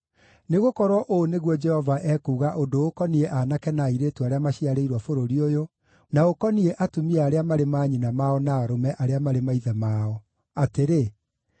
Nĩgũkorwo ũũ nĩguo Jehova ekuuga ũndũ ũkoniĩ aanake na airĩtu arĩa maciarĩirwo bũrũri ũyũ na ũkoniĩ atumia arĩa marĩ manyina mao na arũme arĩa marĩ maithe mao, atĩrĩ: